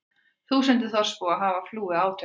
Þúsundir þorpsbúa hafa flúið átökin